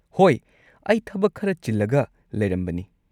ꯍꯣꯏ! ꯑꯩ ꯊꯕꯛ ꯈꯔ ꯆꯤꯜꯂꯒ ꯂꯩꯔꯝꯕꯅꯤ꯫